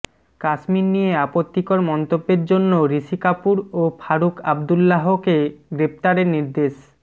কাশ্মীর নিয়ে আপত্তিকর মন্তব্যের জন্য ঋষি কাপুর ও ফারুখ আবদুল্লাহকে গ্রেফতারের নির্দেশ